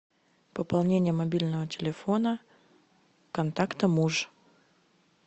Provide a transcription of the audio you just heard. пополнение мобильного телефона контакта муж